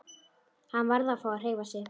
Hann varð að fá að hreyfa sig.